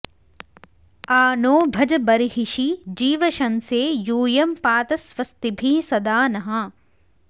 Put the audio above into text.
आ नो॑ भज ब॒र्हिषि॑ जीवशं॒से यू॒यं पा॑त स्व॒स्तिभिः॒ सदा॑ नः